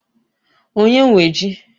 Onye nwe ji?